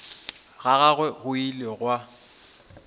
ga gagwe go ile gwa